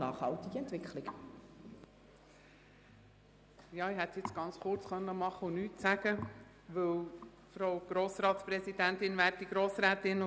Ich hätte es jetzt ganz kurz machen und auf ein Votum verzichten können.